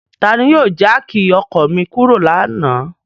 Tani o yọ jáákí ọkọ mi kuro lana?